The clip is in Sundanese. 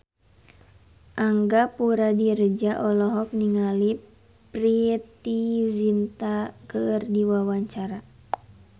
Angga Puradiredja olohok ningali Preity Zinta keur diwawancara